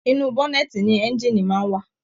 Inú bọ̀nẹ̀ẹ́tí ní ẹ̀ngiini máa n wa.